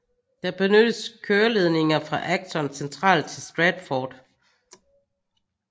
Der benyttes køreledninger fra Acton Central til Stratford